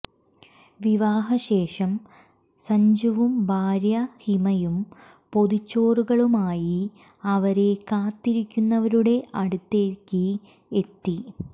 വിവാഹശേഷം സര്ജുവും ഭാര്യ ഹിമയും പൊതിച്ചോറുകളുമായി അവരെ കാത്തിരിക്കുന്നവരുടെ അടുത്തേക്ക് എത്തി